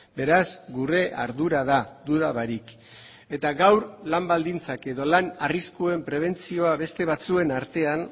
beraz gure ardura da duda barik eta gaur lan baldintzak edo lan arriskuen prebentzioa beste batzuen artean